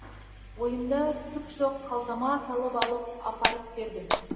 ойымда түк жоқ қалтама салып алып апарып бердім